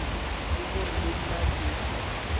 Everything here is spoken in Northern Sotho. ke gore le nna ke